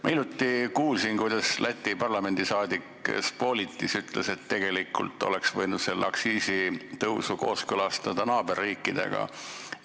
Ma hiljuti kuulsin, kuidas Läti parlamendiliige Spolitis ütles, et tegelikult oleks võinud selle aktsiisitõusu kooskõlastada naaberriikidega.